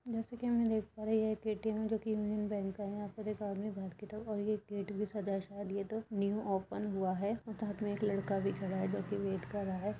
जैसे कि हम यहाँ देख पा रहे हैं यह एटीएम है जो कि यूनियन बैंक का है। यहां पर एक आदमी बाहर की तरफ और ये गेट भी सजा है शायद यह न्यू ओपन हुआ है और साथ में एक लड़का भी खड़ा है जोकि वेट कर रहा है।